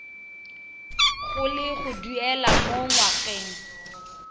go le duela mo ngwageng